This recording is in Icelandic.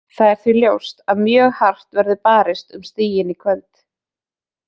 Það er því ljóst að mjög hart verður barist um stigin í kvöld.